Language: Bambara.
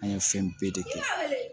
An ye fɛn bɛɛ de kɛ